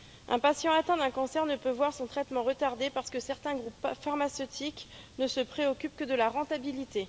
Un patient atteint d'un cancer ne peut voir son traitement retardé parce que certains groupes pharmaceutiques ne se préoccupent que de la rentabilité.